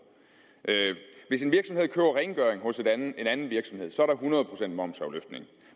hvis en virksomhed køber rengøring hos en anden virksomhed er der hundrede procent momsafløftning